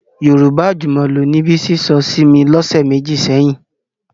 Yorùbá àjùmọ̀lò ni Bísí sọ sí mi lọ́sẹ̀ méjì sẹ́yìn